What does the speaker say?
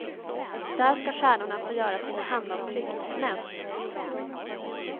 Där ska stjärnorna få göra sina handavtryck i cement.